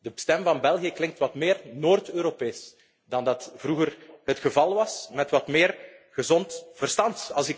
De stem van België klinkt wat meer Noord Europees dan vroeger het geval was, met wat meer gezond verstand.